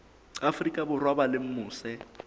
afrika borwa ba leng mose